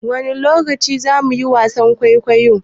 Wani lokaci zamu yi wasan kuikuyo?